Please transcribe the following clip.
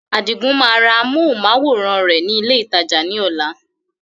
Adigun máa ra amohùn-máwórán rẹ ni ilé ìtajà ni ọ̀la.